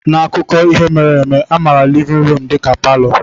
N'akụkọ ihe mere eme, a maara livin ruum dịka palọ.